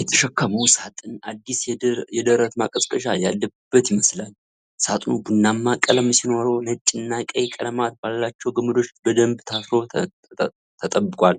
የተሸከመው ሳጥን አዲስ የደረት ማቀዝቀዣ ያለበት ይመስላል፤ ሳጥኑ ቡናማ ቀለም ሲኖረው ነጭና ቀይ ቀለማት ባላቸው ገመዶች በደንብ ታስሮ ተጠብቋል።